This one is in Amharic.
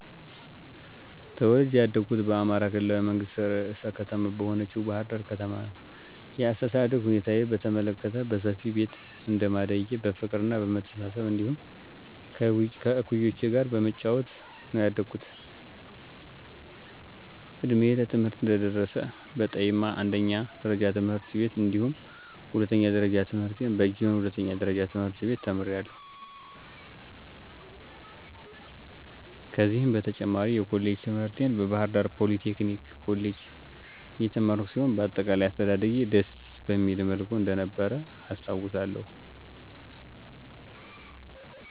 ተወልጀ ያደኩት በአማራ ክልላዊ መንግስት ርዕሰ ከተማ በሆነችው ባሕር ዳር ከተማ ነዉ። የአስተዳደግ ሁኔታዬን በተመለከት በሰፊ ቤተሰብ እንደማደጌ በፍቅርና በመተሳሰብ እንዲሁም ከእኩዮቼ ጋር በመጫወት ነዉ ያደኩት። እድሜዬ ለትምህርት እንደደረሰ በጠይማ አንደኛ ደረጃ ትምህርት ቤት እንዲሁም ሁለተኛ ደረጃ ትምህርቴን በጊዮን ሁለተኛ ደረጃ ትምህርት ቤት ተምሬያለሁ። ከዚህም በተጨማሪ የኮሌጅ ትምህርቴን በባህርዳር ፖሊቴክኒክ ኮሌጅ የተማርኩ ሲሆን በአጠቃላይ አስተዳደጌ ደስ በሚል መልኩ እንደነበረ አስታዉሳለሁ።